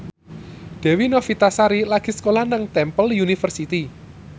Dewi Novitasari lagi sekolah nang Temple University